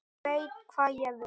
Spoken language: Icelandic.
Veit hvað ég vil.